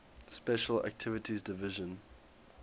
special activities division